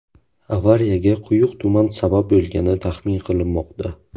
Avariyaga quyuq tuman sabab bo‘lgani taxmin qilinmoqda.